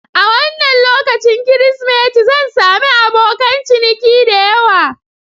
A wannan lokacin Kirsimeti, zan sami abokan ciniki da yawa.